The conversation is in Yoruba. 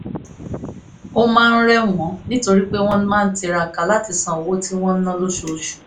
ó máa ń rẹ̀ wọ́n nítorí pé wọ́n máa ń tiraka láti san owó tí wọ́n ń ná lóṣooṣù